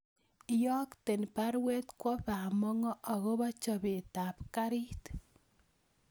Iyokten baruet kwo bamongo agobo chobetap kaarit